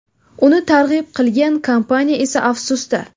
Uni targ‘ib qilgan kompaniya esa afsusda.